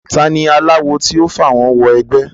ta ni aláwo tí yóò fàwọ́n wẹgbẹ́